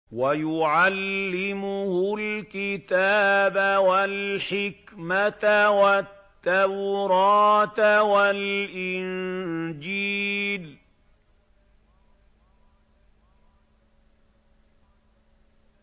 وَيُعَلِّمُهُ الْكِتَابَ وَالْحِكْمَةَ وَالتَّوْرَاةَ وَالْإِنجِيلَ